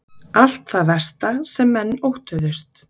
Allt það versta sem menn óttuðust